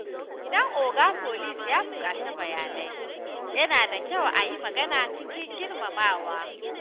Idan 'Oga Police' ya buƙaci bayanai, yana da kyau a yi magana cikin girmamawa.